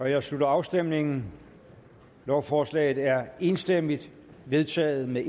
jeg slutter afstemningen lovforslaget er enstemmigt vedtaget med